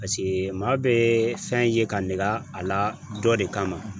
maa be fɛn ye ka neke a la dɔ de kama.